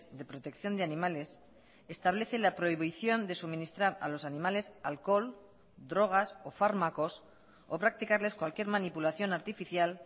de protección de animales establece la prohibición de suministrar a los animales alcohol drogas o fármacos o practicarles cualquier manipulación artificial